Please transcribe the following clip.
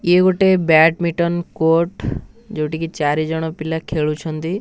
ଇଏ ଗୋଟେ badminton court ଯୋଉଟିକି ଚାରି ଜଣ ପିଲା ଖେଳୁଛନ୍ତି।